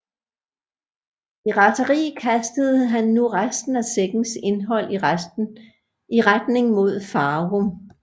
I raseri kastede han nu resten af sækkens indhold i retning mod Farum